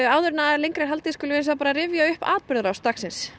áður en lengra er haldið skulum við rifja upp atburði dagsins